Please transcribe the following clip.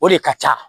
O de ka ca